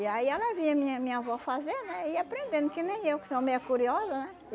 E aí ela via minha minha avó fazer, né, e ia aprendendo, que nem eu, que sou meia curiosa, né?